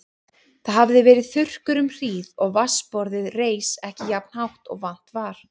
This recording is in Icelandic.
Það hafði verið þurrkur um hríð og vatnsborðið reis ekki jafnt hátt og vant var.